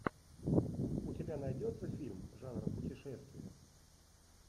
у тебя найдется фильм жанра путешествие